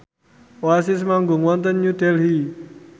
Oasis manggung wonten New Delhi